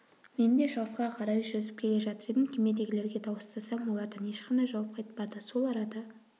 мен де шығысқа қарай жүзіп келе жатыр едім кемедегілерге дауыстасам олардан ешқандай жауап қайтпады сол арада